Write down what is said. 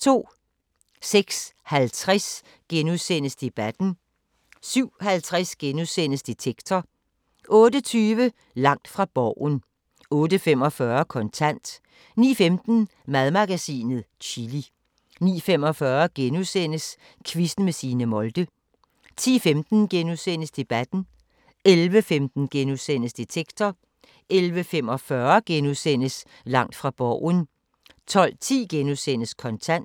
06:50: Debatten * 07:50: Detektor * 08:20: Langt fra Borgen 08:45: Kontant 09:15: Madmagasinet – Chili 09:45: Quizzen med Signe Molde * 10:15: Debatten * 11:15: Detektor * 11:45: Langt fra Borgen * 12:10: Kontant *